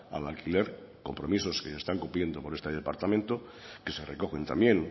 al alquiler compromisos que se están cumpliendo por este departamento que se recogen también